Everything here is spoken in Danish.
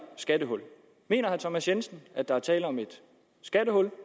skattehul mener herre thomas jensen at der er tale om et skattehul